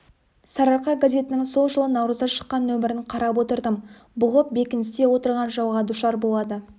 сарыарқа газетінің сол жылы наурызда шыққан нөмірін қарап отырдым бұғып бекіністе отырған жауға душар болады